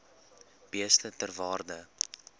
beeste ter waarde